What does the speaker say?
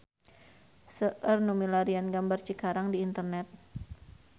Seueur nu milarian gambar Cikarang di internet